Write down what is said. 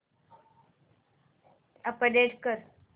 update कर